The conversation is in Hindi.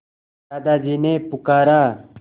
दादाजी ने पुकारा